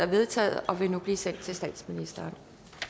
vedtaget og vil nu blive sendt til statsministeren